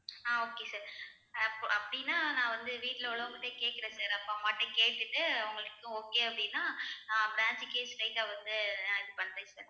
ஆஹ் okay sir அப்~ அப்படின்னா நான் வந்து வீட்டுல உள்ளவங்ககிட்டயே கேட்கிறேன் sir அப்பா அம்மா கிட்ட கேட்டுட்டு அவங்களுக்கும் okay அப்படின்னா ஆஹ் branch க்கே straight ஆ வந்து நான் இது பண்றேன் sir